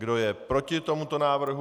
Kdo je proti tomuto návrhu?